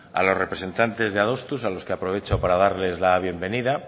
a los representantes de adostu a los que aprovecho para darles las bienvenida